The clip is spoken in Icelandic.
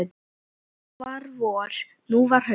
Þá var vor, nú var haust.